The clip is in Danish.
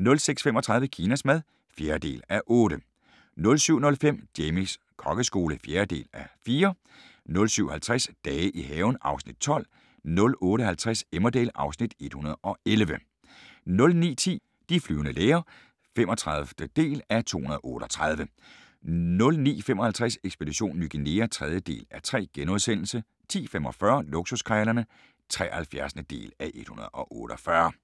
06:35: Kinas mad (4:8) 07:05: Jamies kokkeskole (4:4) 07:50: Dage i haven (Afs. 12) 08:50: Emmerdale (Afs. 111) 09:10: De flyvende læger (35:238) 09:55: Ekspedition Ny Guinea (3:3)* 10:45: Luksuskrejlerne (73:148)